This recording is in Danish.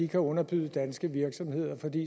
kan underbyde danske virksomheder fordi